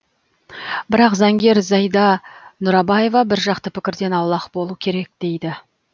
бірақ заңгер зайда нұрабаева бір жақты пікірден аулақ болу керек дейді